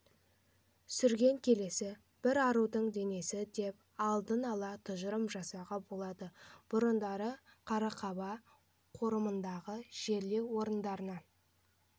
сүрген келесі бір арудың денесі деп алдын-ала тұжырым жасауға болады бұрындары қарақаба қорымындағы жерлеу орындарынан